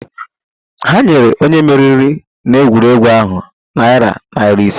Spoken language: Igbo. Ha nyere onye meriri n'egwuregwu ahụ narị naira ise